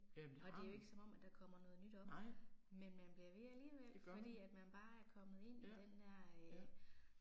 Og det er jo ikke som om at der kommer noget nyt op, men man bliver ved alligevel, fordi at man bare er kommet ind i den der øh